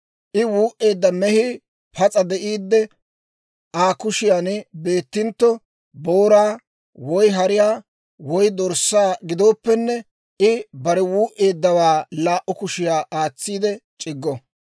I wuu"eedda mehii pas'a de'iidde Aa kushiyaan beettintto, booraa, woy hariyaa, woy dorssaa gidooppenne, I bare wuu"eeddawaa laa"u kushiyaa aatsiide c'iggo.